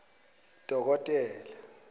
dokotela